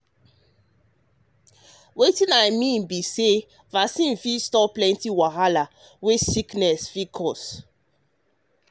wetin i mean be say vaccine fit stop um plenty wahala um wey disease fit cause. um